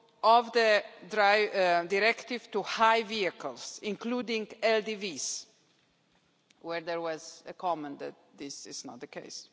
of the directive to high vehicles, including LDVs where there was a comment that this is not the case.